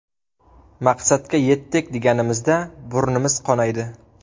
Maqsadga yetdik deganimizda burnimiz qonaydi.